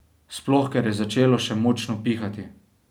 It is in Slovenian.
Sploh, ker je začelo še močno pihati.